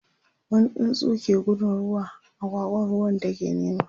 wani tsuntsu ke gudun ruwa, agwagwa ruwan take nema